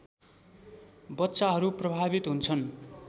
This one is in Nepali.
बच्चाहरू प्रभावित हुन्छन्